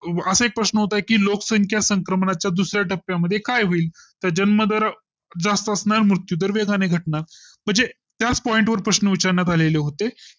असा एक प्रश्न होता की लोकसंख्या संक्रमणा च्या दुसऱ्या टप्प्या मध्ये काय होईल जन्म दर जास्त असणार मृत्यूदर वेगाने घटनार, म्हणजे त्याच point वर प्रश्न विचारण्यात आलेले होते